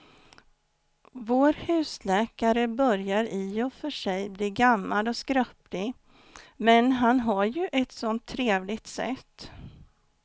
Vår husläkare börjar i och för sig bli gammal och skröplig, men han har ju ett sådant trevligt sätt!